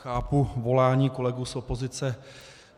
Chápu volání kolegů z opozice.